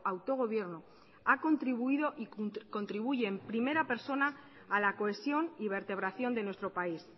autogobierno ha contribuido y contribuye en primera persona a la cohesión y vertebración de nuestro país